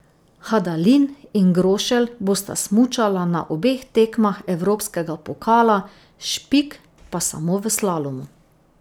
Hadalin in Grošelj bosta smučala na obeh tekmah evropskega pokala, Špik pa samo v slalomu.